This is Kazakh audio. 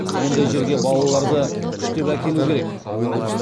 ондай жерге балаларды күштеп әкелу керек